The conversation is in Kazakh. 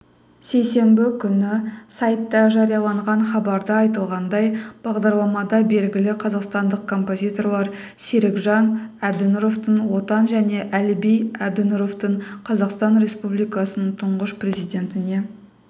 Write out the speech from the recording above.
сейсенбі күні сайтта жарияланған хабарда айтылғандай бағдарламада белгілі қазақстандық композиторлар серікжан әбдінұровтың отан және әліби әбдінұровтың қазақстан республикасының тұңғыш президентіне